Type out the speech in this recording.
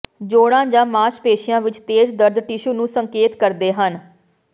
ਜੋੜਾਂ ਜਾਂ ਮਾਸਪੇਸ਼ੀਆਂ ਵਿੱਚ ਤੇਜ਼ ਦਰਦ ਟਿਸ਼ੂ ਨੂੰ ਸੰਕੇਤ ਕਰਦੇ ਹਨ